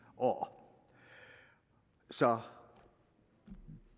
år så